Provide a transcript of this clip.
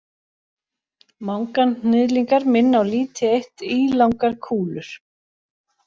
Manganhnyðlingar minna á lítið eitt ílangar kúlur.